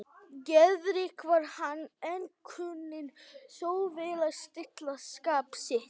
Geðríkur var hann, en kunni þó vel að stilla skap sitt.